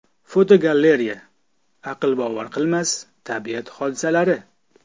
Fotogalereya: Aqlbovar qilmas tabiat hodisalari.